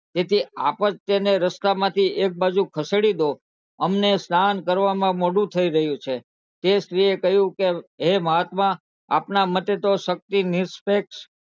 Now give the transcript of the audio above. તેથી આપ્યતાય ને રસ્તામાંથી એક બાજુ ખસેડો દો અમને સ્નાન કરવાનું મોડું થયું ગયું છે તે સ્ત્રી એ કહું કે હે મહાત્મા આપના મતે તો શક્તિ નીસ્પેક્શ